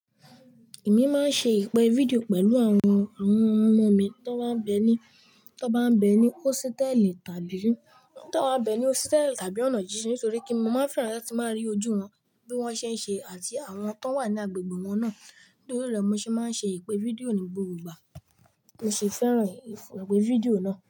Èmi máa ń ṣe ìpè fídíò pẹ̀lú àwọn, àwọn ọmọ mi tán bá ń bẹ ní, tán bá ń bẹ ní hósítẹ́ẹ́lì tàbí, tany bá ń bẹ ní hósítẹ́ẹ́lì tàbí ọ̀nà jínjin nítorí pe mo máa fẹ́ràn láti máa rí ojú wọn bí wọ́n ṣe ń ṣe àti àwọn tó wà ní agbègbè wọn náà. Nitori rẹ mo ṣe máa n ṣe ìpè fídíò ni gbogbo igba. Mo sì fẹ́ràn ìpè fídíò náà.